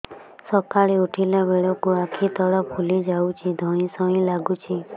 ସକାଳେ ଉଠିଲା ବେଳକୁ ଆଖି ତଳ ଫୁଲି ଯାଉଛି ଧଇଁ ସଇଁ ଲାଗୁଚି